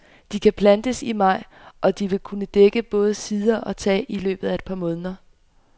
De kan plantes i maj, og de vil kunne dække både sider og tag i løbet af et par måneder.